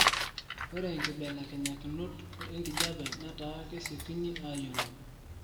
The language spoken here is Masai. ore nkibelenyakunok enkijape nataa kesiekini ayolou